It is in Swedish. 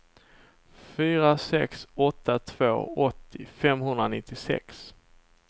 fyra sex åtta två åttio femhundranittiosex